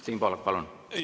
Siim Pohlak, palun!